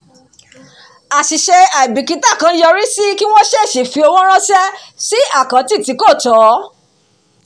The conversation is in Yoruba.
àṣìṣe àìbìkítà kan yọrí sí kí wọ́n ṣèṣì fi ọwọ́ ránṣẹ́ sí àkáǹtì tí kò tọ́